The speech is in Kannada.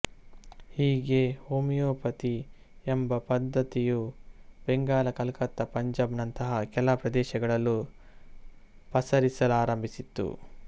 ಹೀಗೆ ಹೋಮಿಯೋಪತಿ ಎಂಬ ಪದ್ದತಿಯು ಬೆಂಗಾಲ ಕಲ್ಕತ್ತಾ ಪಂಜಾಬ್ ನಂತಹ ಕೆಲ ಪ್ರದೇಶಗಳಲ್ಲೂ ಪಸರಿಸಲಾರಂಭಿಸಿತು